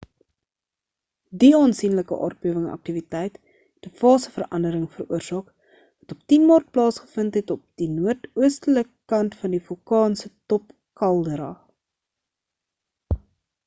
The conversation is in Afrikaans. die aansienlike aardbewing aktiwiteit het 'n fase verandering veroorsaak wat op 10 maart plaasgevind het op die noordoostelike kant van die vulkaan se top kaldera